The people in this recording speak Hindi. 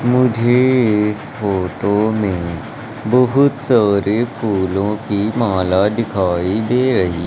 मुझे इस फोटो में बहुत सारे फूलों की माला दिखाई दे रही--